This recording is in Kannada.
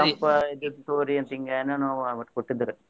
ತಂಪ ಇದ್ದಿದ್ನ ತಗೋರಿ ಅಂತ ಹಿಂಗೆನೇನೋ ಒಟ್ ಕೊಟ್ಟಿದ್ರಿ.